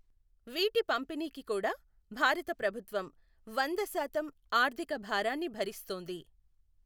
వీటి పంపిణీకి కూాడా భారత ప్రభుత్వం వందశాతం ఆర్థిక భారాన్ని భరిస్తోంది.